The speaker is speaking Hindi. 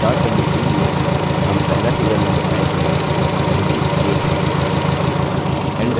start value field में हम पहला serial number type करेंगे जो कि 1 है